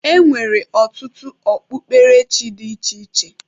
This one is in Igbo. E nwere ọtụtụ ọ kpukperechi dị iche iche.